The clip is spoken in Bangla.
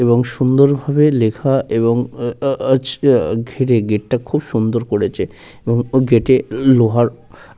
এবং সুন্দর ভাবে লেখা এবং আহহ আজকে ঘিরে গেট -টা খুব সুন্দর করেছে এরপর গেট -এর লোহার ।